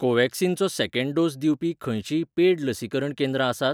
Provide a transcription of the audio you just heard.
कोव्हॅक्सिनचो second dose दिवपी खंयचींय paid लसीकरण केंद्रां आसात?